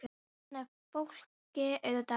Þarna er fólki auðvitað rétt lýst.